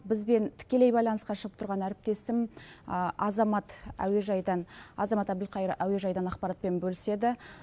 бізбен тікелей байланысқа шығып тұрған әріптесім азамат әуежайдан азамат әбілқайыр әуежайдан ақпаратпен бөліседі